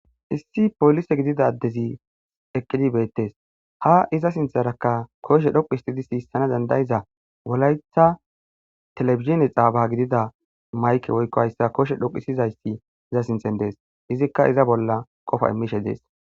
issi polise gidida adezi eqqidi beettees ha iza sintharakka koshe dhoqu histidi siissana dandayiza wolaytha telefizhene xaaba gidida mayke woykko hayssa koshe dhoquisizayssi iza sinthen dees izikka iza bolla qofa immishe dees